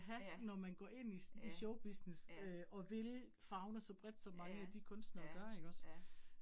Ja, ja, ja. Ja, ja, ja